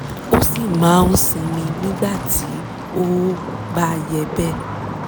ó sì máa ń sinmi ní ìgbà tí ó ó bá yẹ bẹ́ẹ̀